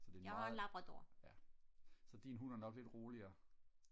så det er en meget ja så din hund er nok lidt roligere